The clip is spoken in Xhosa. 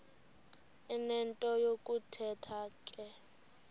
enento yokuthetha ke